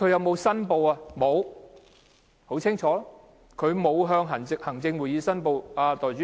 沒有，很清楚的是，他沒有向行政會議申報。